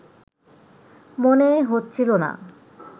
মনে হচ্ছিল না